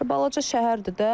Balaca şəhərdir də.